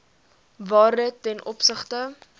waarde ten opsigte